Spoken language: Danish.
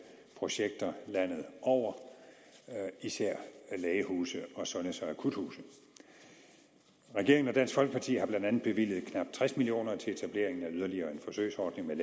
projekter landet over især lægehuse og sundheds og akuthuse regeringen og dansk folkeparti har blandt andet bevilget knap tres million kroner til etableringen af yderligere en forsøgsordning med